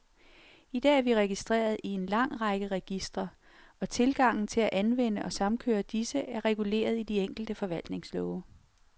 I dag er vi registreret i en lang række registre, og tilgangen til at anvende og samkøre disse, er reguleret i de enkelte forvaltningslove.